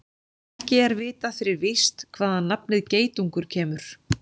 Ekki er vitað fyrir víst hvaðan nafnið geitungur kemur.